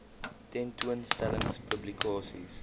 tentoon stellings publikasies